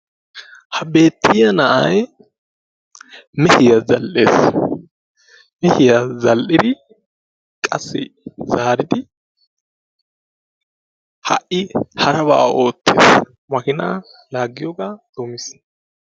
ha beetiya na'ay gittiya zal'ees, yaatidi ha'i makiinaa laagiyoga doomiis.